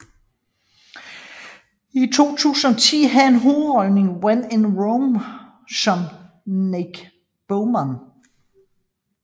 I 2010 havde han hovedrollen i When in Rome som Nick Beamon